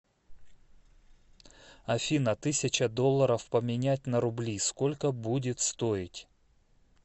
афина тысяча долларов поменять на рубли сколько будет стоить